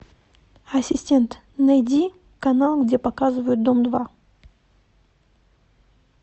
ассистент найди канал где показывают дом два